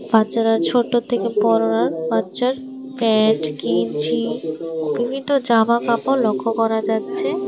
বাচ্চারা ছোট থেকে পড়ার বাচ্চার প্যান্ট গেঞ্জি বিভিন্ন জামা কাপড় লক্ষ্য করা যাচ্ছে।